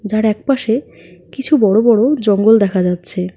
আর একপাশে কিছু বড়ো বড়ো জঙ্গল দেখা যাচ্ছে।